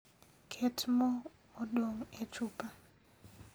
Ket moo modong' e chupa